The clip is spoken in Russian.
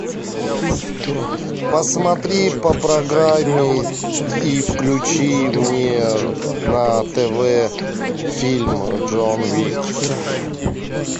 посмотри по прогамме и включи мне на тв фильм джон уик